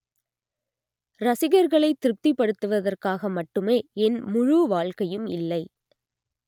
ரசிகர்களை திருப்திபடுத்துவதற்காக மட்டுமே என் முழு வாழ்க்கையும் இல்லை